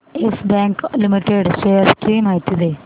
yes Bank Limited shares ची माहिती दे